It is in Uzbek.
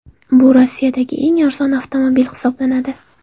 Bu Rossiyadagi eng arzon avtomobil hisoblanadi.